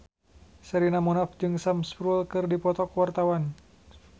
Sherina Munaf jeung Sam Spruell keur dipoto ku wartawan